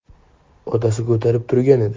Otasi ko‘tarib turgan edi.